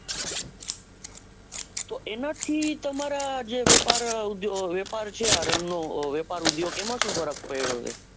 તો એના થી તમારા જે વેપાર છે આ રંગ નો વેપાર ઊંઘ્યો છે એમાં સુ ફર્ક પડ્યો છે.